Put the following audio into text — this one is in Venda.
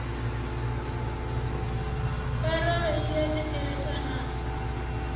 parole i a thetsheleswa na